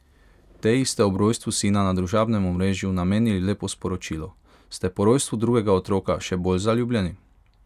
Teji ste ob rojstvu sina na družabnem omrežju namenili lepo sporočilo, ste po rojstvu drugega otroka še bolj zaljubljeni?